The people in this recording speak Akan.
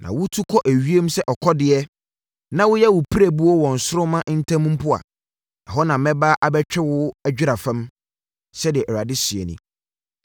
Sɛ wotu kɔ ewiem sɛ akɔdeɛ, na woyɛ wo pirebuo wɔ nsoromma ntam mpo a, ɛhɔ na mɛba abɛtwe wo adwera fam.” Sɛdeɛ Awurade seɛ nie.